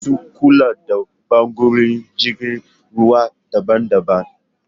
Masu kula da ɓangarorin jirgin ruwa daban daban